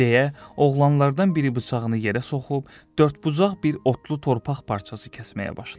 Deyə oğlanlardan biri bıçağını yerə soxub, dördbucaq bir otlu torpaq parçası kəsməyə başladı.